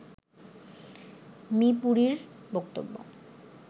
me পুরীর বক্তব্য